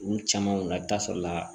Olu caman na i bɛ taa sɔrɔ la